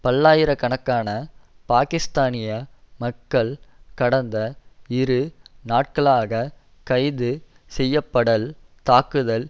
பல்லாயிர கணக்கான பாக்கிஸ்தானிய மக்கள் கடந்த இரு நாட்களாக கைது செய்யப்படல் தாக்குதல்